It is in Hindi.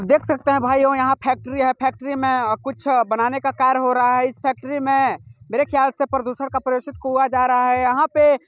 देख सकते हैं भाइयों यहाँ फैक्ट्री है। फैक्ट्री में अ कुछ अ बनाने का कार्य हो रहा है। इस फैक्ट्री में मेरे ख्याल से प्रदूषण का प्रयोगशीट हुआ जा रहा है। यहाँ पे--